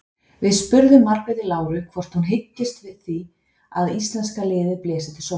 Við spurðum Margréti Láru hvort hún byggist við því að íslenska liðið blési til sóknar?